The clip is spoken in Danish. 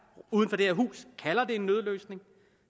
uden for det her hus kalder det en nødløsning